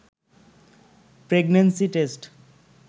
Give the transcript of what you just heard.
pregnancy test